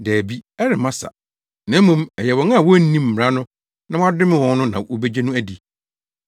Dabi, ɛremma sa, na mmom ɛyɛ wɔn a wonnim mmara no na wɔadome wɔn no na wobegye no adi.”